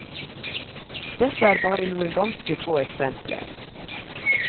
Dette er bare noen ganske få eksempler.